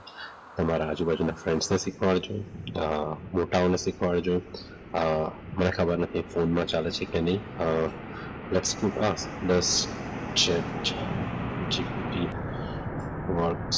તમારા આજુબાજુના ફ્રેન્ડ્સ શીખવાડજો મોટાઓને શીખવાડજો મને ખબર નથી ફોનમાં ચાલે છે કે નહીં .